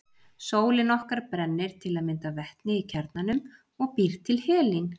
Sólin okkar brennir til að mynda vetni í kjarnanum og býr til helín.